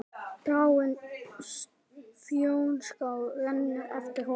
Dragáin Fnjóská rennur eftir honum.